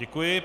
Děkuji.